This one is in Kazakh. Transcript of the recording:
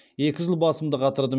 екі жыл басымды қатырдым